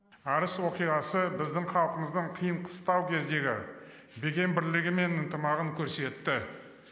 арыс оқиғасы біздің халқымыздың қиын қыстау кездегі бекем бірлігі мен ынтымағын көрсетті